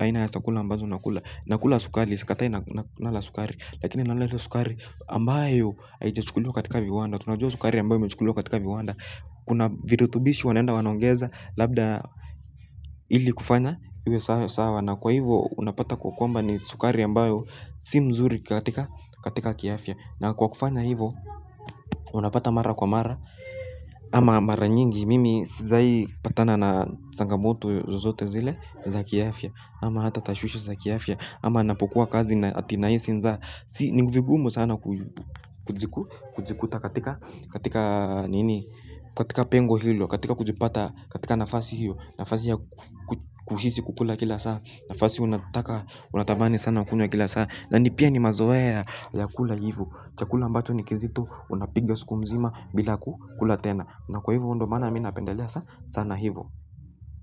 aina ya chakula ambazo nakula. Nakula sukari. Sikatai nala sukari lakini nala hilo sukari ambayo haijachukuliwa katika viwanda. Tunajua sukari ambayo imechukuliwa katika viwanda. Kuna virutubishi wanaenda wanaongeza. Labda ili kufanya iwe sawa na kwa hivo unapata kwa kwamba ni sukari ambayo si mzuri katika kiafya na kwa kufanya hivo unapata mara kwa mara ama mara nyingi mimi sijawai patana na changamoto zozote zile za kiafya ama hata tashwishi za kiafya ama napokuwa kazi na ati nahisi njaa. Si nivigumu sana kujikuta katika nini. Katika pengo hilo katika kujipata katika nafasi hiyo nafasi ya kuhisi kukula kila saa nafasi unataka unatamani sana kukula kila saa na ni pia ni mazoea ya kula hivo chakula ambacho ni kizito unapiga siku mzima bila kukula tena na kwa hivo ndio maana mi napendelea sana hivo.